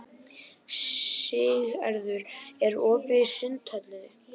Siggerður, er opið í Sundhöllinni?